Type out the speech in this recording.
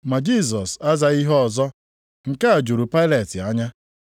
Ma Jisọs azaghị ihe ọzọ. Nke a juru Pailet anya.